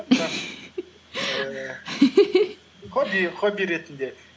хобби ретінде